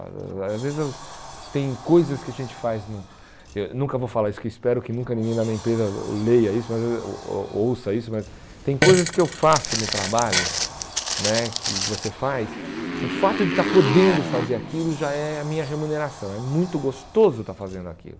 Às vezes eu tem coisas que a gente faz no, eh nunca vou falar isso, que espero que nunca ninguém da minha empresa leia isso mas, oh oh ouça isso, mas tem coisas que eu faço no trabalho né, que você faz, o fato de estar podendo fazer aquilo já é a minha remuneração, é muito gostoso estar fazendo aquilo.